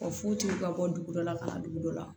Ka fucuguw ka bɔ dugu dɔ la ka na dugu dɔ la